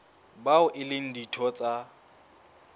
bao e leng ditho tsa